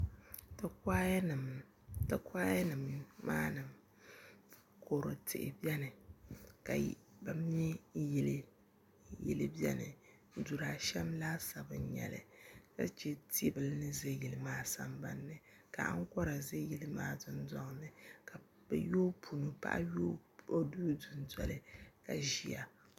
ti kuanima maa ni kɔdu tihi beni ka bɛ me yili beni dur' ashɛm laasabu n-nyɛ li ka che ti' bila ni za yili maa samabani ni ka aŋkɔra za yili maa dundɔŋ ni ka paɣa yooi o duu dundoli ka ʒiya